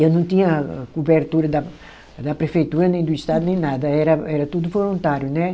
Eu não tinha cobertura da da prefeitura, nem do estado, nem nada, era era tudo voluntário, né?